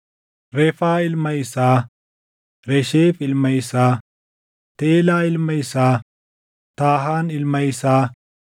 Refaa ilma isaa, Resheef ilma isaa, Teelaa ilma isaa, Taahan ilma isaa,